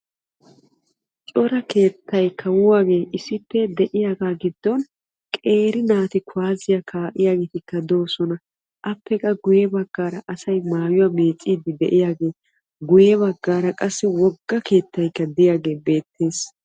Cora keettay issippe de'iyaaga gidon qeeri naati kuwasiya kaa'iyagetti appe guye bagan asay maayuwa meeciddi de'iyaagetti beetosonna.